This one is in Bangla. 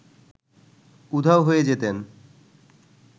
উধাও হয়ে যেতেন